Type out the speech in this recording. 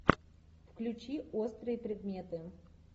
включи острые предметы